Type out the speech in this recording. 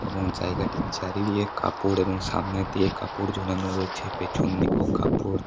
এবং জায়গাটির চারিদিকে কাপড় এবং সামনের দিকে কাপড় ঝোলানো রয়েছে পেছন দিকেও কাপড় --